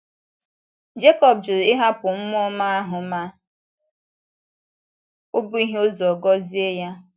Jekọb jụrụ ịhapụ mmụọ ọma ahụ ma ó bughị ụzọ gọzie ya.